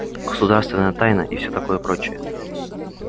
государственная тайна и все такое прочее